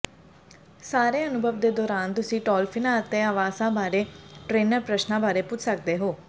ਸਾਰੇ ਅਨੁਭਵ ਦੇ ਦੌਰਾਨ ਤੁਸੀਂ ਡੌਲਫਿੰਨਾਂ ਅਤੇ ਆਵਾਸਾਂ ਬਾਰੇ ਟ੍ਰੇਨਰ ਪ੍ਰਸ਼ਨਾਂ ਬਾਰੇ ਪੁੱਛ ਸਕਦੇ ਹੋ